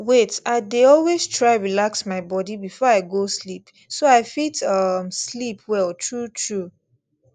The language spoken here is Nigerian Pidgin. wait i dey always try relax my body before i go sleep so i fit um sleep well truetrue